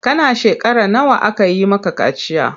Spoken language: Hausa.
Kana shekara nawa aka yi maka kaciya?